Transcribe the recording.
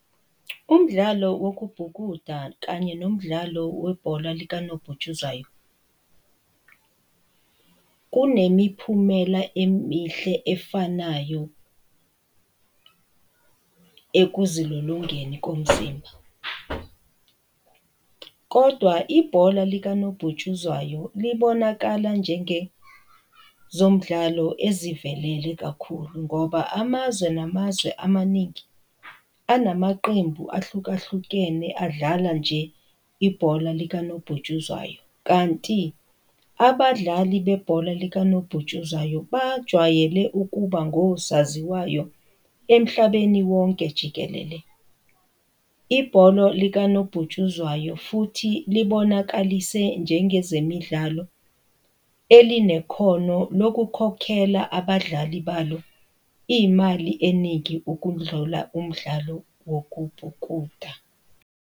Umdlalo wokubhukuda kanye nomdlalo webhola likanobhutshuzwayo kunemiphumela emihle efanayo, ekuzilolongeni komzimba, kodwa ibhola likanobhutshuzwayo libonakala njengezomdlalo ezivelile kakhulu, ngoba amazwe namazwe amaningi anamaqembu ahlukahlukene adlala nje ibhola likanobhutshuzwayo kanti abadlali bebhola likanobhutshuzwayo bajwayele ukuba ngosaziwayo emhlabeni wonke jikelele. Ibholo likanobhutshuzwayo futhi libonakalise njengezemidlalo elinekhono lokukhokhela abadlali balo iy'mali eningi okudlula umdlalo wokubhukuda.